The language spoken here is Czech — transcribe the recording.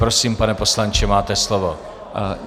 Prosím, pane poslanče, máte slovo.